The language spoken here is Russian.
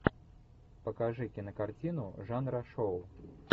покажи кинокартину жанра шоу